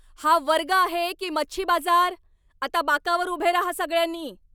हा वर्ग आहे की मच्छी बाजार? आता बाकावर उभे राहा सगळ्यांनी!